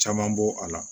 Caman bɔ a la